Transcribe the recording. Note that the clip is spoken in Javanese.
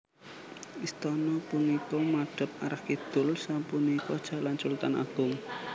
Istana punika madhep arah kidul sapunika Jalan Sultan Agung